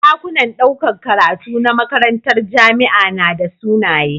Dakunan ɗaukar karatu na makarantar jamia nada sunaye